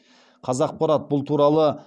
қазақпарат бұл туралы